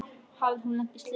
Hafði hún lent í slysi?